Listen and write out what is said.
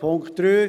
Punkt 3